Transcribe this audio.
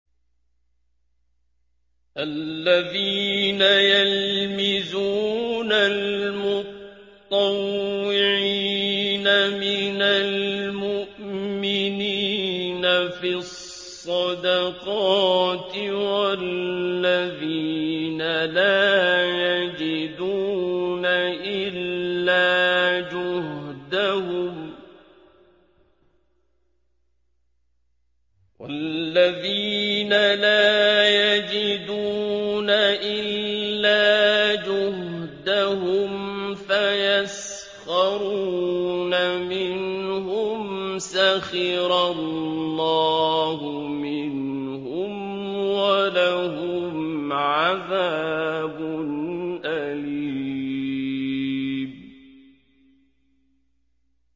الَّذِينَ يَلْمِزُونَ الْمُطَّوِّعِينَ مِنَ الْمُؤْمِنِينَ فِي الصَّدَقَاتِ وَالَّذِينَ لَا يَجِدُونَ إِلَّا جُهْدَهُمْ فَيَسْخَرُونَ مِنْهُمْ ۙ سَخِرَ اللَّهُ مِنْهُمْ وَلَهُمْ عَذَابٌ أَلِيمٌ